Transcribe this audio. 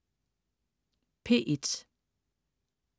P1: